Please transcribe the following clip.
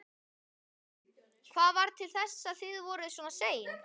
Hugrún: Hvað varð til þess að þið voruð svona sein?